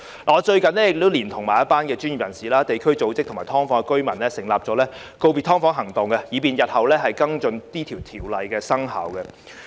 我最近連同一眾專業人士、地區組織及"劏房"的居民，成立了"告別劏房行動"，以便日後跟進《條例草案》生效後的情況。